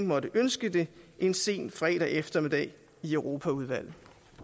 måtte ønske det en sen fredag eftermiddag i europaudvalget